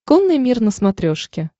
конный мир на смотрешке